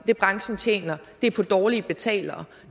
det branchen tjener er på dårlige betalere